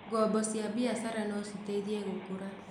Ngombo cia biashara no citeithie gũkũra.